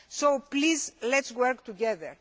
So please, let us work together.